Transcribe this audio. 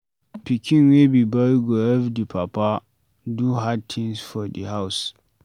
Pikin wey be boy go help di papa do hard tins for di house